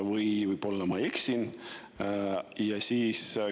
Või võib-olla ma eksin?